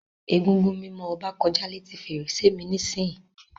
Egúngún mimo Oba koja leti ferese mi nisiyi.